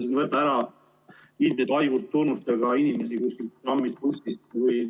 ]... ära ilmsete haigustunnustega inimesi kuskilt trammist, bussist või ...